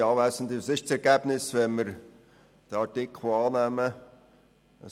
Was wäre das Ergebnis, wenn wir diesen Antrag annehmen würden?